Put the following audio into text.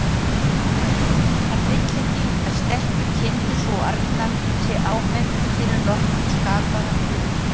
Hann vill ekki að stelpukindin sú arna sé áminnt fyrir nokkurn skapaðan hlut.